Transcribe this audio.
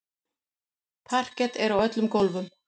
Parket er á öllum gólfum.